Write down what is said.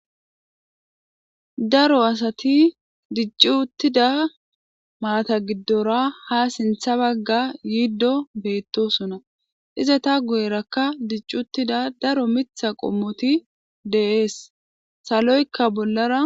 Daro asati diccu uttida maata giddora ha sintha bagga yiiddo beettosona iza ta guyerakka dicc uttida daro mitha qommoti deees saloykka bollara.